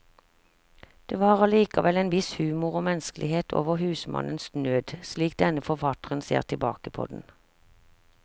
Det var allikevel en viss humor og menneskelighet over husmannens nød, slik denne forfatteren ser tilbake på den.